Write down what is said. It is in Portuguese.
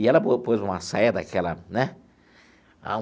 E ela pôs uma saia daquela, né?